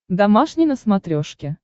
домашний на смотрешке